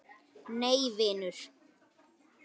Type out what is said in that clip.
Nei vinur.